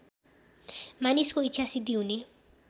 मानिसको इच्छासिद्धि हुने